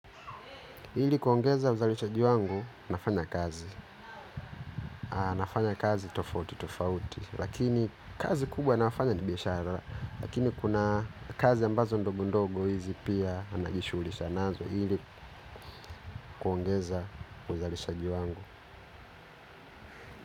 Ili kuongeza uzalishaji wangu nafanya kazi, nafanya kazi tofauti tofauti, lakini kazi kubwa nafanya ni bihashara, lakini kuna kazi ambazo ndogo ndogo hizi pia najishughulisha nazo ili kuongeza uzalishaji wangu.